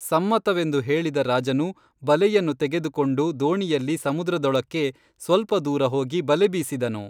ಸಮ್ಮತವೆಂದು ಹೇಳಿದ ರಾಜನು ಬಲೆಯನ್ನು ತೆಗೆದುಕೊಂಡು ದೋಣಿಯಲ್ಲಿ ಸಮುದ್ರದೊಳಕ್ಕೇ ಸ್ವಲ್ಪದೂರ ಹೋಗಿ ಬಲೆಬೀಸಿದನು